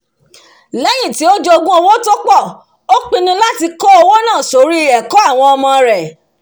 lẹ́yìn tí ó jogún owó tó pọ̀ ó pinnu láti kówó náà sórí ẹ̀kọ́ àwọn ọmọ rẹ̀